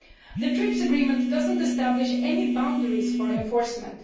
The TRIPS agreement does not establish any boundaries for enforcement.